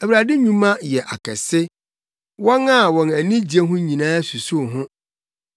Awurade nnwuma yɛ akɛse; wɔn a wɔn ani gye ho nyinaa susuw ho.